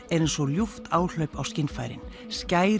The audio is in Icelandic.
eins og ljúft áhlaup á skynfærin